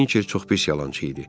Hinçer çox pis yalançı idi.